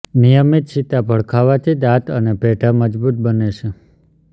નિયમિત સીતાફળ ખાવાથી દાંત અને પેઢા મજબુત બને છે